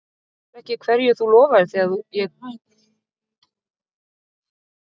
Manstu ekki hverju þú lofaðir þegar ég tók þig í sátt aftur?